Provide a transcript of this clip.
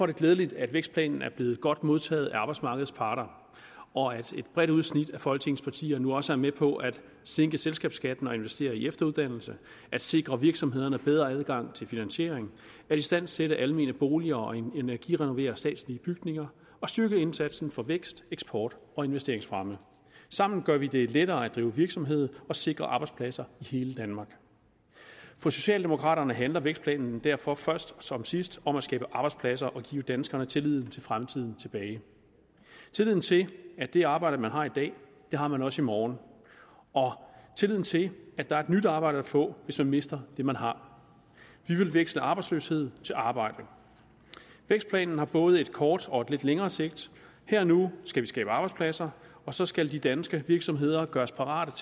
det glædeligt at vækstplanen er blevet godt modtaget af arbejdsmarkedets parter og at et bredt udsnit af folketingets partier nu også er med på at sænke selskabsskatten og investere i efteruddannelse at sikre virksomhederne bedre adgang til finansiering at istandsætte almene boliger og energirenovere statslige bygninger og styrke indsatsen for vækst eksport og investeringsfremme sammen gør vi det lettere at drive virksomhed og sikrer arbejdspladser i hele danmark for socialdemokraterne handler vækstplanen derfor først som sidst om at skabe arbejdspladser og give danskerne tilliden til fremtiden tilbage tilliden til at det arbejde man har i dag har man også i morgen og tilliden til at der er et nyt arbejde at få hvis man mister det man har vi vil veksle arbejdsløshed til arbejde vækstplanen har både et kort og et lidt længere sigt her og nu skal vi skabe arbejdspladser og så skal de danske virksomheder gøres parate